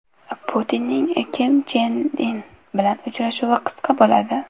Putinning Kim Chen In bilan uchrashuvi qisqa bo‘ladi.